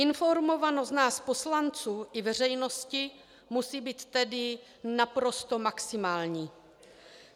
Informovanost nás poslanců i veřejnosti musí být tedy naprosto maximální.